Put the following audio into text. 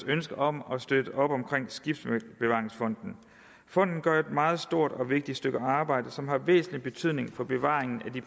ønske om at støtte op omkring skibsbevaringsfonden fonden gør et meget stort og vigtigt stykke arbejde som har væsentlig betydning for bevaringen af de